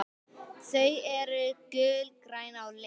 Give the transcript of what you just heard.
Þau eru gulgræn á lit.